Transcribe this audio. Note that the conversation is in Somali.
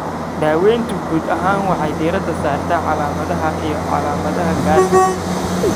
Daaweyntu guud ahaan waxay diiradda saartaa calaamadaha iyo calaamadaha gaarka ah.